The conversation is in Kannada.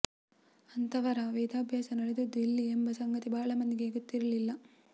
ಅಂಥವರ ವೇದಾಭ್ಯಾಸ ನಡೆದದ್ದು ಇಲ್ಲಿ ಎಂಬ ಸಂಗತಿ ಬಹಳ ಮಂದಿಗೆ ಗೊತ್ತಿರಲಿಲ್ಲ